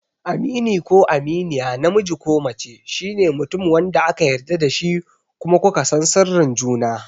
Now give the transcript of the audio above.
Amini ko Aminiya, namiji ko mace, shine mutum wanda aka yarda da shi kuma ku ka san sirrin juna.